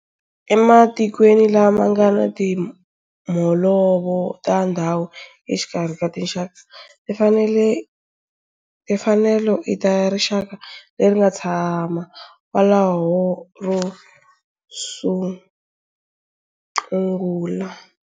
Ematikweni lama nga ni timholovo ta ndhawu exikarhi ka tinxaka, timfanelo i ta rixaka leri nga tshama kwalaho ro sungula.